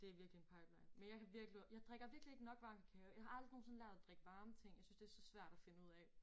Det virkelig en pipeline men jeg kan virkelig jeg drikker virkelig ikke nok varm kakao jeg har aldrig nogensinde lært at drikke varme ting jeg synes det så svært at finde ud af